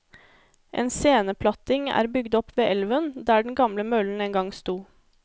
En sceneplatting er bygd opp ved elven, der den gamle møllen en gang sto.